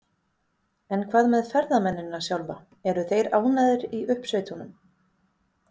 En hvað með ferðamennina sjálfa, eru þeir ánægðir í uppsveitunum?